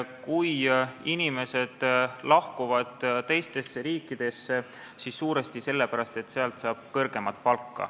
Kui inimesed lahkuvad teistesse riikidesse, siis suuresti sellepärast, et seal saab kõrgemat palka.